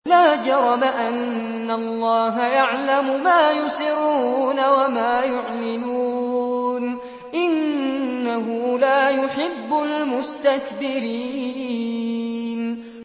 لَا جَرَمَ أَنَّ اللَّهَ يَعْلَمُ مَا يُسِرُّونَ وَمَا يُعْلِنُونَ ۚ إِنَّهُ لَا يُحِبُّ الْمُسْتَكْبِرِينَ